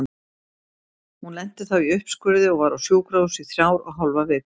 Hún lenti þá í uppskurði og var á sjúkrahúsi í þrjár og hálfa viku.